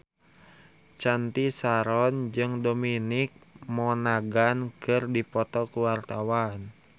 Cathy Sharon jeung Dominic Monaghan keur dipoto ku wartawan